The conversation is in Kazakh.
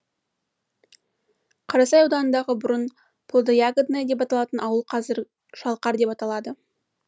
қарасай ауданындағы бұрын плодо ягодная деп аталған ауыл қазір шалқар деп аталады